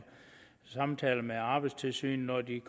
samtaler med arbejdstilsynet når de er